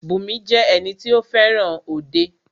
Bùnmi jẹ́ ẹni tí o fẹràn òde.